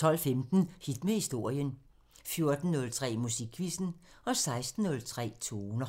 12:15: Hit med historien 14:03: Musikquizzen 16:03: Toner